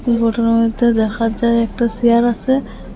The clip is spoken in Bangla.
ঘটনার মইধ্যে দেখা যায় একটা সেয়ার আসে।